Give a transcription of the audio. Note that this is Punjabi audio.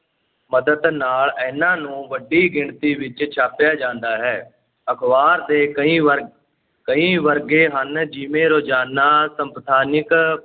ਮਦਦ ਨਾਲ ਇਨਾਂ ਨੂੰ ਵੱਡੀ ਗਿਣਤੀ ਵਿੱਚ ਛਾਪਿਆ ਜਾਂਦਾ ਹੈ ਅਖ਼ਬਾਰ ਦੇ ਕਈ ਵਰਗ, ਕਈ ਵਰਗੇ ਹਨ, ਜਿਵੇਂ ਰੋਜ਼ਾਨਾ, ਸਪਤਾਹਿਕ,